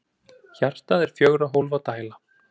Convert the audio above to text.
Hjartað er fjögurra hólfa dæla.